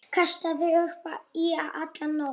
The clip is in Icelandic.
Kastaði upp í alla nótt.